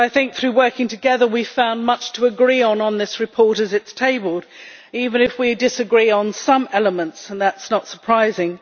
Through working together, we have found much to agree on on this report as it is tabled, even if we disagree on some elements and that is not surprising.